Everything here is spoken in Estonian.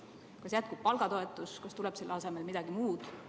Kas jätkub palgatoetus või tuleb selle asemele midagi muud?